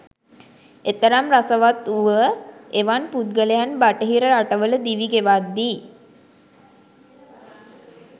එතරම් රසවත් වුව එවන් පුද්ගලයන් බටහිර රටවල දිවි ගෙවද්දී